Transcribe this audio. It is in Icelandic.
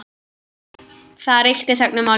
Það ríkti þögn um málið.